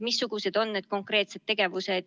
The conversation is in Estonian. Missugused on konkreetsed tegevused?